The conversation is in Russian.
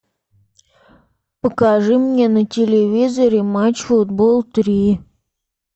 покажи мне на телевизоре матч футбол три